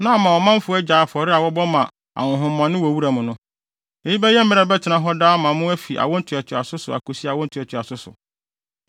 Na ama ɔmanfo agyae afɔre a wɔbɔ ma ahonhommɔne wɔ wuram no. Eyi bɛyɛ mmara a ɛbɛtena hɔ daa ama mo fi awo ntoatoaso so akosi awo ntoatoaso so.